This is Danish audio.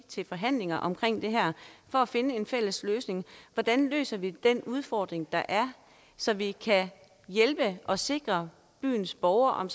til forhandlinger om det her for at finde en fælles løsning hvordan løser vi den udfordring der er så vi kan hjælpe og sikre byens borgere om